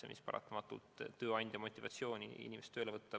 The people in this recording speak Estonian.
Selline käitumine paratamatult vähendab tööandja motivatsiooni inimest tööle võtta.